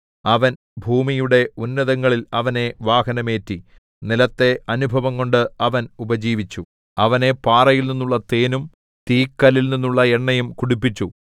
അവൻ ഭൂമിയുടെ ഉന്നതങ്ങളിൽ അവനെ വാഹനമേറ്റി നിലത്തെ അനുഭവംകൊണ്ട് അവൻ ഉപജീവിച്ചു അവനെ പാറയിൽനിന്നുള്ള തേനും തീക്കല്ലിൽനിന്നുള്ള എണ്ണയും കുടിപ്പിച്ചു